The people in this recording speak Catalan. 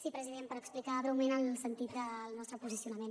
sí president per explicar breument el sentit del nostre posicionament